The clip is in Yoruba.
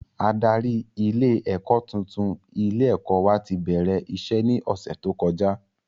Adarí ilé ẹ̀kọ́ tuntun ilé ẹ̀kọ́ wa ti bẹ̀rẹ̀ iṣẹ́ ní ọ̀sẹ̀ tó kọjá